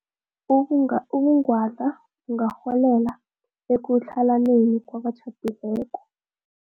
Ubung ubungwadla bungarholela ekutlhalaneni kwabatjhadileko.